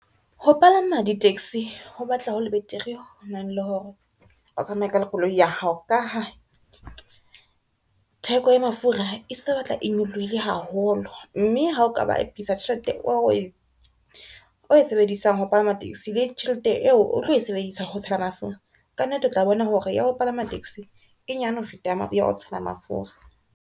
Ho palama di-taxi ho batla ho le betere hona le hore o tsamaye ka le koloi ya hao ka ha theko ya mafura e sa batla e nyolohile haholo, mme ha o ka bapisa tjhelete o e sebedisang ho palama taxi le tjhelete eo o tlo e sebedisa ho tshela mafura ka nnete, o tla bona hore ya ho palama taxi e nyane ho feta ya ho tshela mafura.